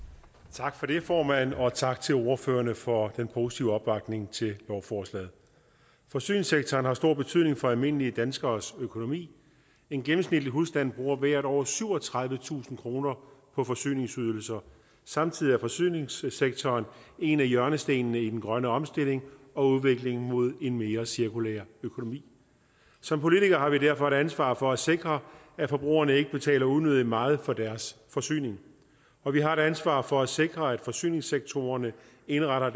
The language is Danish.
tak for det formand og tak til ordførerne for den positive opbakning til lovforslaget forsyningssektoren har stor betydning for almindelige danskeres økonomi en gennemsnitlig husstand bruger hvert år syvogtredivetusind kroner på forsyningsydelser samtidig er forsyningssektoren en af hjørnestenene i den grønne omstilling og udviklingen mod en mere cirkulær økonomi som politikere har vi derfor et ansvar for at sikre at forbrugerne ikke betaler unødig meget for deres forsyning og vi har et ansvar for at sikre at man i forsyningssektoren indretter